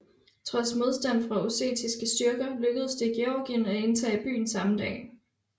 Trods modstand fra ossetiske styrker lykkedes det Georgien at indtage byen samme dag